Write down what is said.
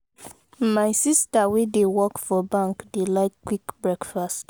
my sista wey dey work for bank dey like quick breakfast.